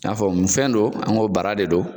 N'a fɔ mun fɛn don an ko bara de don